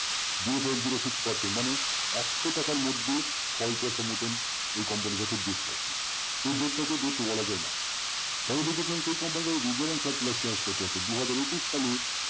zero point zero six percent মানে একশ টাকার মধ্যে ছয় পয়সা মতন এই company র কাছে depth আছে cash দুহাজার একুশ সালে